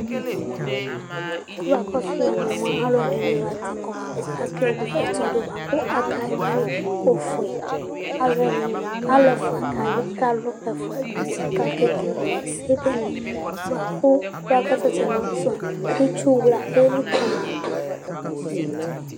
Alʋɛdìní la ntɛ kɔ bʋakʋ ake wle ɛsɔ bʋakʋ aka wʋi yi ɔfʋe Alu ɛfʋa kawʋi kʋ alu ɛfʋa du ʋti kʋ alu kekele ɛsɛ benee bʋakʋ itsu wla elikali ma du